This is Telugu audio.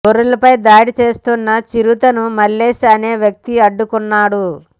గొర్రెలపై దాడి చేస్తున్న చిరుతను మల్లేష్ అనే వ్యక్తి అడ్డుకున్నాడు